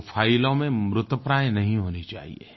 वो फाइलों में मृतप्राय नहीं होनी चाहियें